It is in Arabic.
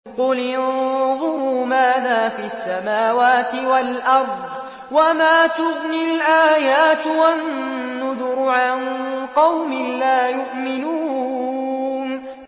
قُلِ انظُرُوا مَاذَا فِي السَّمَاوَاتِ وَالْأَرْضِ ۚ وَمَا تُغْنِي الْآيَاتُ وَالنُّذُرُ عَن قَوْمٍ لَّا يُؤْمِنُونَ